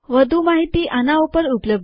વધુ માહિતી આના ઉપર ઉપલબ્ધ છે